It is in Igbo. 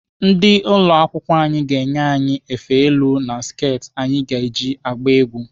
Ndị ụlọ akwụkwọ anyị ga-enye anyị efe elu na sket anyị ji agba egwu.